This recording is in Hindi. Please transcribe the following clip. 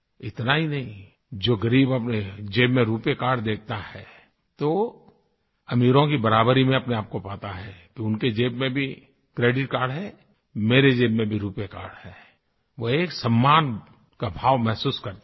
इतना ही नहीं जो ग़रीब अपने ज़ेब में रूपे कार्ड देखता है तो अमीरों की बराबरी में अपने आपको पाता है कि उनके ज़ेब में भी क्रेडिट कार्ड है मेरी ज़ेब में भी रूपे कार्ड है वो एक सम्मान का भाव महसूस करता है